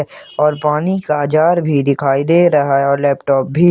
और पानी का जार भी दिखाई दे रहा है और लैपटॉप भी--